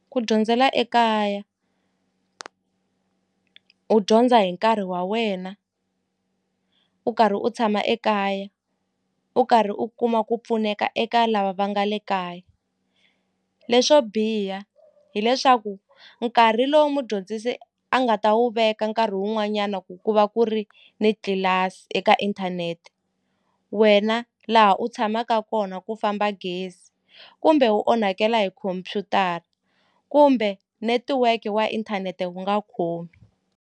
Ku dyondzela ekaya u dyondza hi nkarhi wa wena u karhi u tshama ekaya u karhi u kuma ku pfuneka eka lava va nga le kaya leswo biha hileswaku nkarhi lowu mudyondzisi a nga ta wu veka nkarhi wun'wanyana ku ku va ku ri ni tlilasi eka inthanete wena laha u tshamaka kona ku famba gezi kumbe wu onhakela hi khomphyutara kumbe netiweke wa inthanete wu nga khomi.